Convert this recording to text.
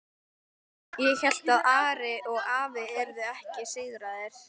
Ég hélt að Ari og afi yrðu ekki sigraðir.